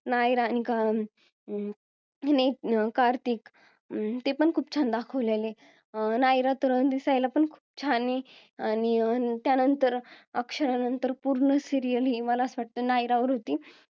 नायरा अं आणि कार्तिक अं ते पण खूप छान दाखवलेला आहे अं नायरा तर दिसायला पण खूप छान आणि त्या नंतर अक्षरानंतर पूर्ण serial हे मला असं वाटतं नायरावर होती